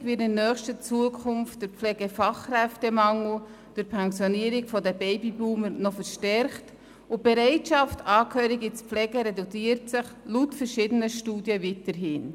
Gleichzeitig wird der Pflegefachkräftemangel in nächster Zukunft durch die Pensionierung der Babyboomer noch verstärkt, und die Bereitschaft, Angehörige zu pflegen, reduziert sich laut verschiedenen Studien weiterhin.